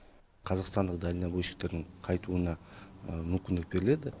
қазақстандық далневойщиктердің қайтуына мүмкіндік беріледі